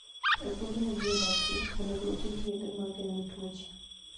E kuonde ma ji odakie, onego oti gi yedhe ma geng'o tuoche.